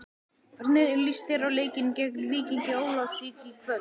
Hvernig líst þér á leikinn gegn Víkingi Ólafsvík í kvöld?